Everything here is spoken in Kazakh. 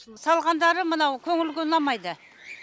салғандары мынау көңілге ұнамайды